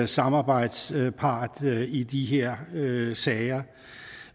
samarbejdspart i de her sager